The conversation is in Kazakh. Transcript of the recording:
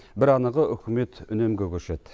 бір анығы үкімет үнемге көшеді